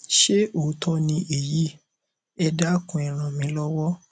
ṣé òótọ ni èyí ẹ dákun e ràn mí lọwọ